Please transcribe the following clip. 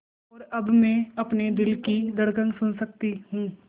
और अब मैं अपने दिल की धड़कन सुन सकती हूँ